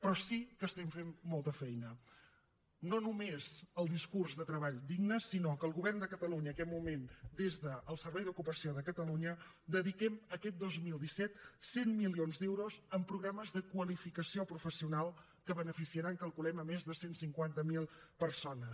però sí que estem fent molta feina no només amb el discurs de treball digne sinó que el govern de catalunya en aquest moment des del servei d’ocupació de catalunya dediquem aquest dos mil disset cent milions d’euros a programes de qualificació professional que beneficiaran calculem més de cent i cinquanta miler persones